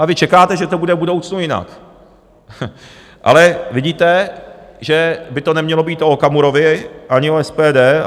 A vy čekáte, že to bude v budoucnu jinak, ale vidíte, že by to nemělo být o Okamurovi ani o SPD.